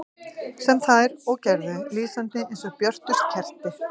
Sem þær og gerðu, lýsandi eins og björtust kerti.